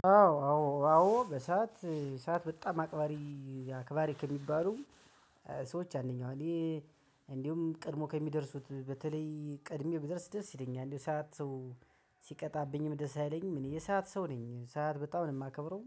አዎ አዎ አዎ በሰአት ሰዓት በጣም አቅባሪ አክባሪ ከሚባሉ ሰዎች አንደኛው ነኝ። እንዲሁም ቀድሞ ከሚደርሱት በተለይ ቀድሜ ብድረስ ደስ ይለኛል እንደው ሰዓት ሰው ሲቀጣብኝም ደስ አይለኝም። እኔ የሰዓት ሰው ነኝ ሰዓት በጣም ነው የማከብረው።